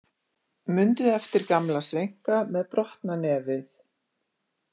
Mundi eftir gamla sveinka með brotna nefið.